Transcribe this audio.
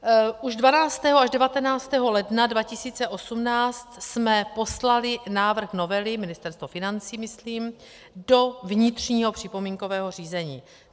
Už 12. až 19. ledna 2018 jsme poslali návrh novely, Ministerstvo financí myslím, do vnitřního připomínkového řízení.